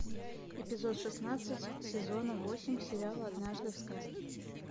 эпизод шестнадцать сезона восемь сериала однажды в сказке